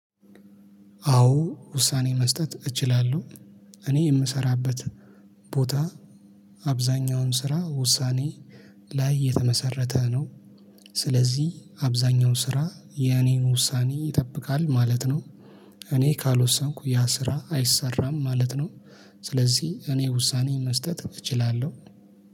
አዎ ውሳኔ መስጠት እችላለሁ። እኔ የምሰራበት ቦታ አብዛኛውን ስራ ውሳኔ ላይ የተመሰረተ ነው። ስለዚህ አብዛኛው ስራ የኔን ውሳኔ ይጠብቃል ማለት ነው። እኔ ካልወሰንኩ ያ ስራ አይሰራም ማለት ነው። ስለዚህ እኔ ውሳኔ መስጠት እችላለሁ